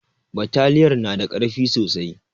Bataliyar na da ƙarfi sosai